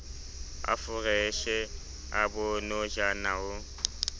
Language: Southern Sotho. a foreshe a bonojana ho